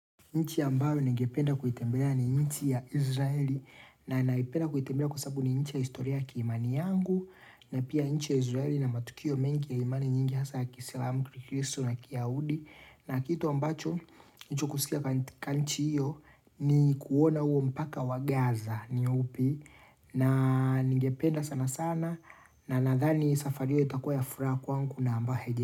Nchi ambayo ningependa kuitembelea ni nchi ya Israeli na naipenda kuitembelea kwa sababu ni nchi ya historia kiimani yangu na pia nchi ya Israeli ina matukio mengi ya imani nyingi hasa ya kisilamu kristo na kiyaudi na kitu ambacho nchukusikia kanchi hiyo ni kuona uo mpaka wa Gaza ni upi na ningependa sana sana na nadhani safari hiyo itakua ya fura kwangu na amba heje.